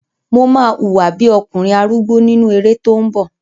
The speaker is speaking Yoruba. Mo máa hùwà bí okùnrin arúgbó nínú eré tó n bọ̀